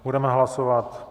Budeme hlasovat.